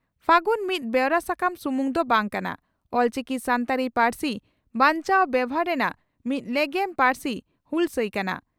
ᱯᱷᱟᱹᱜᱩᱱ ᱢᱤᱫ ᱵᱮᱣᱨᱟ ᱥᱟᱠᱟᱢ ᱥᱩᱢᱩᱝ ᱫᱚ ᱵᱟᱝ ᱠᱟᱱᱟ, ᱚᱞᱪᱤᱠᱤ ᱥᱟᱱᱛᱟᱲᱤ ᱯᱟᱹᱨᱥᱤ ᱵᱟᱧᱪᱟᱣ ᱵᱮᱵᱷᱟᱨ ᱨᱮᱱᱟᱜ ᱢᱤᱫ ᱞᱮᱜᱮᱢ ᱯᱟᱹᱨᱥᱤ ᱦᱩᱞᱥᱟᱹᱭ ᱠᱟᱱᱟ ᱾